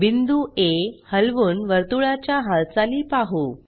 बिंदू आ हलवून वर्तुळाच्या हालचाली पाहु